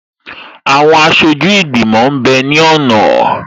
Àwọn aṣojú ìgbìmọ̀ m bẹ ní ọ̀nà